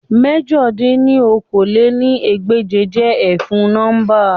Mẹ̀jọ dín ní okòó-lé-ní-ẹgbẹ́je jẹ efun nọmba